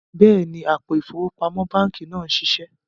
Bẹẹni, àpò ifowópamọ̀ bankí náà n ṣíṣẹ